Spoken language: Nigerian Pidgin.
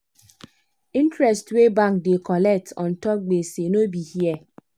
interest wey bank da colect untop gbese no be here